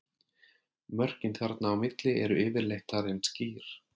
Mörkin þarna á milli eru yfirleitt talin skýr.